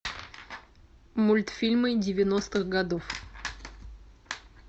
мультфильмы девяностых годов